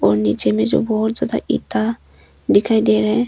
नीचे में जो बहुत ज्यादा ईटा दिखाई दे रहा है।